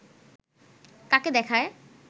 তাকে দেখায়